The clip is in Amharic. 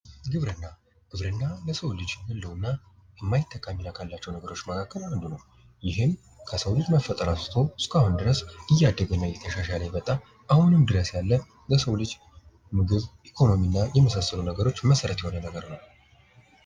ግብርና ግብርና ለሰው ልጅ ህልውና የማይተካ ጠቀሜታ ካላቸው ነገሮች መካከል ይህም ከሰው ልጅ መፈጠር አንስቶ እስካሁን ድረስ እያደገና እየተሻለ የመጣ አሁንም ድረስ ያለ ለሰው ልጅ ምግብ ምግብ ኢኮኖሚና የመሳሰሉ ነገሮች መሰረታዊ የሆነ ነገር ነው።